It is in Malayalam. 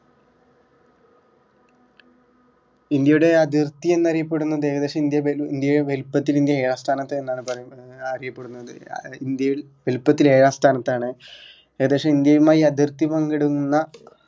ഇന്ത്യയുടെ അതിർത്തി എന്നറിയപ്പെടുന്നത് ഏകദേശം ഇന്ത്യ വൽ ഇന്ത്യയെ വലിപ്പത്തിൽ ഇന്ത്യ ഏഴാം സ്ഥാനത്ത് എന്നാണ് പറയുന്നത് അറിയപ്പെടുന്നത് ഇന്ത്യയിൽ വലിപ്പത്തിൽ ഏഴാം സ്ഥാനത്തു ആണ് ഏകദേശം ഇന്ത്യയുമായി അതിർത്തി പങ്കിടുന്ന